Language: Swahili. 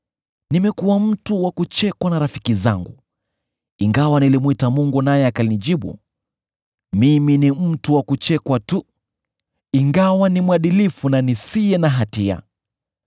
“Nimekuwa mtu wa kuchekwa na rafiki zangu, ingawa nilimwita Mungu naye akanijibu: mimi ni mtu wa kuchekwa tu, ingawa ni mwadilifu na nisiye na hatia!